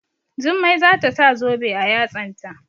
Jummai za ta sa zobe a yatsanta.